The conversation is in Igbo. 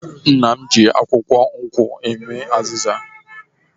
Nne m ji akwukwo nkwu eme azịza.